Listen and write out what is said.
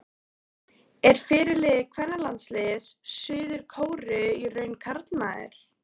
Er fyrirliði kvennalandsliðs Suður-Kóreu í raun karlmaður?